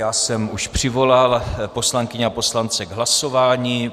Já jsem už přivolal poslankyně a poslance k hlasování.